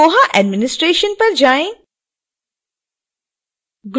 koha administration पर जाएँ